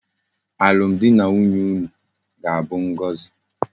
Alum di na nwunye unu ga abu ngozi